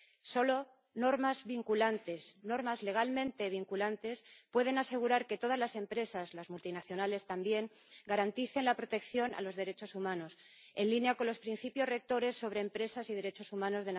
Solo normas vinculantes, normas legalmente vinculantes pueden asegurar que todas las empresas —las multinacionales también— garanticen la protección de los derechos humanos, en línea con los Principios Rectores de las Naciones Unidas sobre las empresas y los derechos humanos.